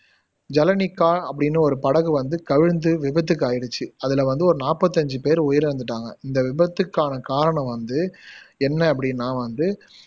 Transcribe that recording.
ஜளனிக்கா அப்படின்னு ஒரு படகு வந்து கவிழ்ந்து விபத்துக்கு ஆயிடுச்சு அதுல வந்து ஒரு நாப்பத்தஞ்சு பேரு உயிரிழந்துட்டாங்க இந்த விபத்துக்கான காரணம் வந்து என்ன அப்படின்னா வந்து